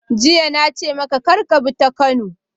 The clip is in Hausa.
Jiya na ce maka kar ka bi ta Kano!